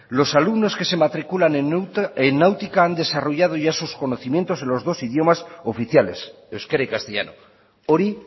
los alumnos que se matriculan en náutica han desarrollado ya sus conocimientos en los dos idiomas oficiales euskera y castellano hori